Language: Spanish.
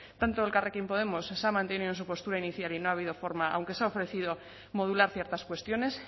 tanto elkarrekin podemos se ha mantenido en su postura inicial y no ha habido forma aunque se ha ofrecido modular ciertas cuestiones